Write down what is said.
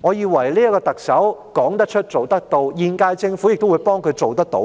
我以為特首說得出、做得到，現屆政府亦會幫助她做得到，